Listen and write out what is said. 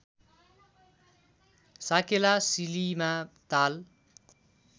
साकेला सिलीमा ताल